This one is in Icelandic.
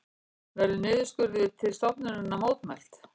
Verður niðurskurði til stofnunarinnar mótmælt